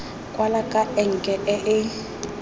kwala ka enke e e